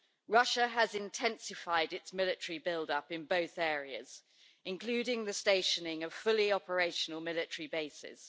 Russia has intensified its military build up in both areas including the stationing of fully operational military bases.